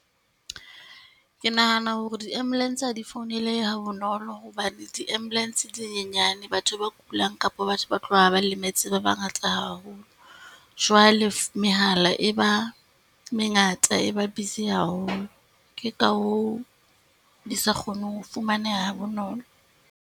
Ke nahana hore di-ambulance ha di founelehe ha bonolo hobane di-ambulance di nyenyane. Batho ba kulang kapo batho ba tlohang ba lemetse ba bangata haholo. Jwale mehala e ba mengata e ba busy haholo, ke ka hoo di sa kgoneng ho fumaneha ha bonolo.